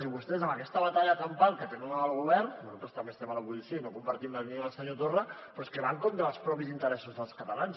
i vostès amb aquesta batalla campal que tenen amb el govern nosaltres també estem a l’oposició i no compartim la línia del senyor torra però és que van contra els propis interessos dels catalans